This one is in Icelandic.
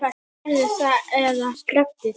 Gerðu það eða slepptu því.